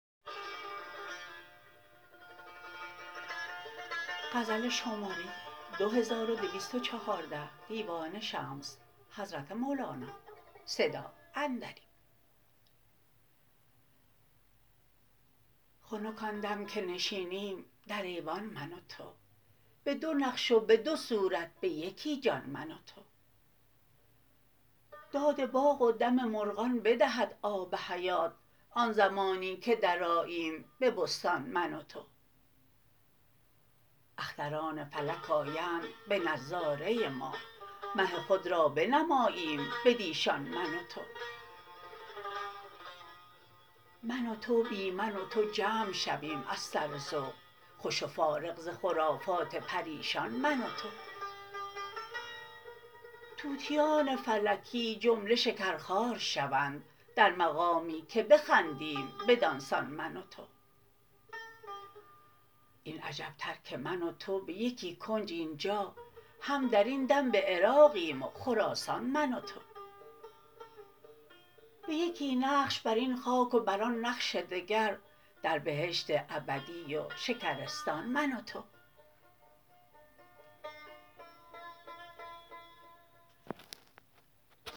خنک آن دم که نشینیم در ایوان من و تو به دو نقش و به دو صورت به یکی جان من و تو داد باغ و دم مرغان بدهد آب حیات آن زمانی که درآییم به بستان من و تو اختران فلک آیند به نظاره ما مه خود را بنماییم بدیشان من و تو من و تو بی من و تو جمع شویم از سر ذوق خوش و فارغ ز خرافات پریشان من و تو طوطیان فلکی جمله شکرخوار شوند در مقامی که بخندیم بدان سان من و تو این عجب تر که من و تو به یکی کنج این جا هم در این دم به عراقیم و خراسان من و تو به یکی نقش بر این خاک و بر آن نقش دگر در بهشت ابدی و شکرستان من و تو